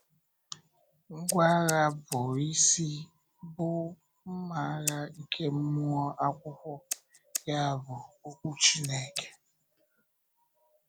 Ngwá agha bụ́ isi bụ “mmà agha nke mmụọ Akwụkwọ,” ya bụ, okwú Chineke.